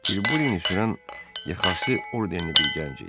Tilburini sürən yaxası ordernli bir gənc idi.